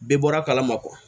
Bɛɛ bɔra kala ma